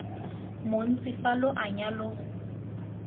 montsi fa lo anya lo